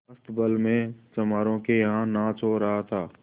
अस्तबल में चमारों के यहाँ नाच हो रहा था